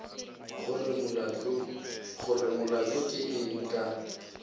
gore molato ke eng ka